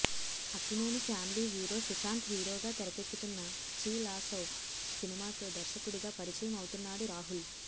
Akkineni family hero Sushanth హీరోగా తెరకెక్కుతున్న చిలసౌ సినిమాతో దర్శకుడిగా పరిచయం అవుతున్నాడు రాహుల్